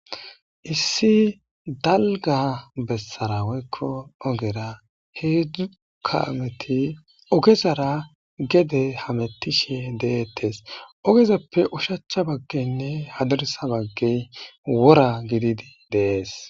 Issi dalga bessaraweykko ogera heedzdzu kaameti ogezara gede hametishe deettes ogezappe ushachcha baggenne hadarsa bagge wora gididi dees.